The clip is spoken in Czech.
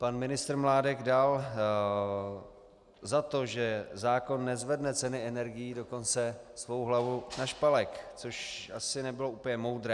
Pan ministr Mládek dal za to, že zákon nezvedne ceny energií, dokonce svou hlavu na špalek, což asi nebylo úplně moudré.